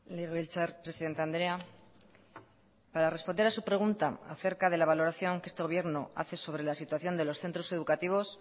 legebiltzar presidente andrea para responder a su pregunta a cerca de la valoración que este gobierno hace sobre la situación de los centros educativos